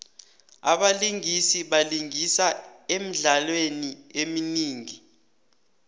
abalingisi balingisa emidlalweni eminingi